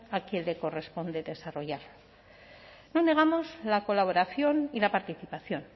a quien le corresponde desarrollar no negamos la colaboración y la participación